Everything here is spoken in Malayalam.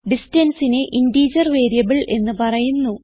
distanceനെ ഇന്റിജർ വേരിയബിൾ എന്ന് പറയുന്നു